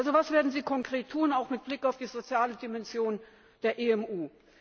Was werden Sie also konkret tun, auch mit Blick auf die soziale Dimension der WWU?